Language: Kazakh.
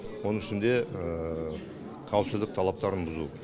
оның ішінде қауіпсіздік талаптарын бұзу